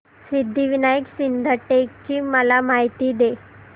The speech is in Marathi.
सिद्धिविनायक सिद्धटेक ची मला माहिती दे